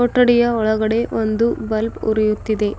ಕೊಠಡಿಯ ಒಳಗಡೆ ಒಂದು ಬಲ್ಬ್ ಉರಿಯುತ್ತಿದೆ.